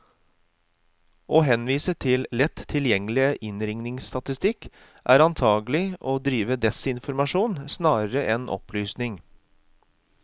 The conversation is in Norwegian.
Å henvise til lett tilgjengelig innringningsstatistikk, er antagelig å drive desinformasjon snarere enn opplysning.